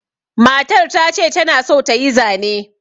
Matar ta ce ta na son ta yi zane.